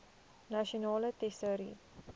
nasionale tesourie